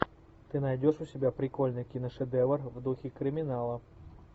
ты найдешь у себя прикольный киношедевр в духе криминала